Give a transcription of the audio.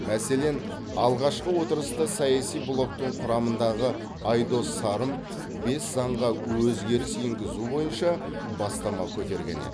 мәселен алғашқы отырыста саяси блоктың құрамындағы айдос сарым бес заңға өзгеріс енгізу бойынша бастама көтерген еді